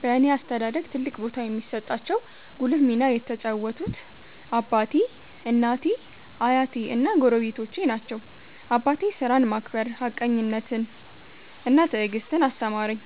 በእኔ አስተዳደግ ትልቅ ቦታ የሚሰጣቸው ጉልህ ሚና የተጫወቱት አባቴ፣ እናቴ፣ አያቴ እና ጎረቤቶቼ ናቸው። አባቴ ሥራን ማክበር፣ ሀቀኝነትን እና ትዕግስትን አስተማረኝ።